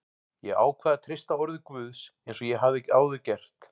Ég ákvað að treysta orði Guðs eins og ég hafði áður gert.